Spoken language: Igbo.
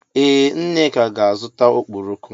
Ee Nneka ga-azụta ọkpọrọko.